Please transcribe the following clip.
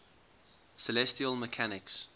celestial mechanics